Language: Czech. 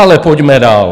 Ale pojďme dál.